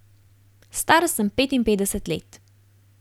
Star sem petinpetdeset let.